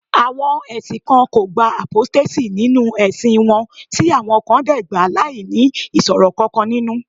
àwọn ẹsìn kan o gba apostasy ninu ẹsìn won ti awọn kan de gba lai ni iṣoro kankan ninu